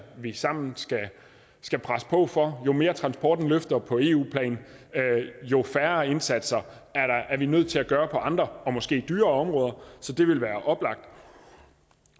vi sammen skal presse på for jo mere transporten løfter på eu plan jo færre indsatser er vi nødt til at gøre på andre og måske dyrere områder så det ville være oplagt